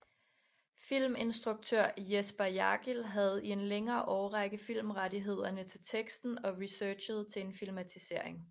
Filminstruktør Jesper Jargil havde i en længere årrække filmrettighederne til teksten og researchede til en filmatisering